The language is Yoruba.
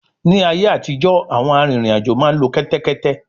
Ní ayé àtijọ́, àwọn arìnrìn-àjò máa ń lo kẹ́tẹ́kétẹ́